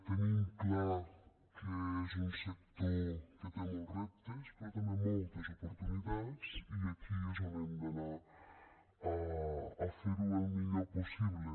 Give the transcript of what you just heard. tenim clar que és un sector que té molts reptes però també moltes oportunitats i aquí és on hem d’anar a fer ho el millor possible